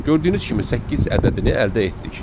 Gördüyünüz kimi səkkiz ədədini əldə etdik.